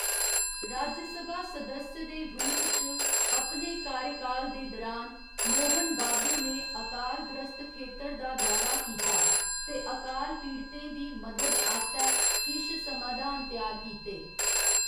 राज्यसभा सदस्य दे रूप च अपने कार्यकाल दे दरान, मोहन बाबू ने अकालग्रस्त खेतर दा दौरा कीता ते अकाल पीड़ितें दी मदद आस्तै किश समाधान त्यार कीते।